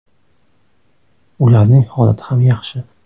Ularning holati ham yaxshi.